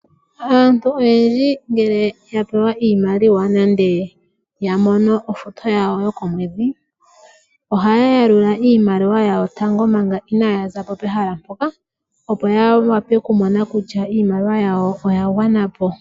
Aantu oyendji ngele yapewa iimaliwa nenge yamono ofuto yawo yo komwedhi ,ohaya yalula iimaliwa yawo tango manga inayazapo pehala mpoka opo ya wape okumona kutya iimaliwa yawo oya gwanapo